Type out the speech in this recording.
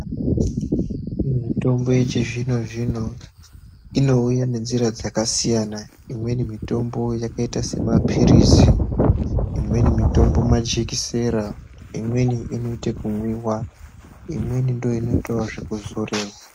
Mitombo yechizvino zvino inouya ngenjira dzakasiya imweni mitombo yakaita semapirizi imweni mitombo majekisera imweni inoita nekumwiwa imweni ndoinoita zvekuzoriwa.